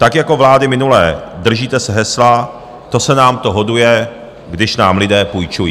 Tak jako vlády minulé držíte se hesla "to se nám to hoduje, když nám lidé půjčují".